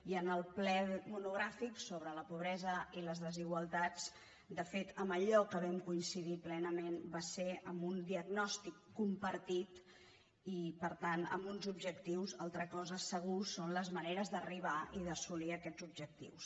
i en el ple monogràfic sobre la pobresa i les desigualtats de fet en allò que vam co·incidir plenament va ser en un diagnòstic compartit i per tant en uns objectius una altra cosa segur són les maneres d’arribar i d’assolir aquests objectius